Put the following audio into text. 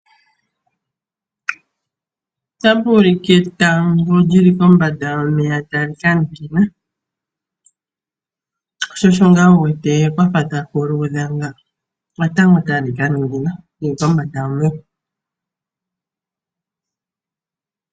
Otapu ulike etango lyili kombanda yomeya tali kaningina, sho osho ngaa wuwete kwafa taku luudha nga, etango tali kaningina lyili kombanda yomeya.